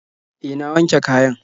Eh, na wanke kayan.